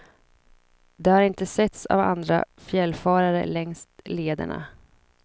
De har inte setts av andra fjällfarare längs lederna.